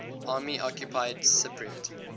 army occupied cypriot